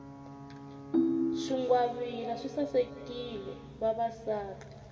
swingwavila swi sasekisa vavasati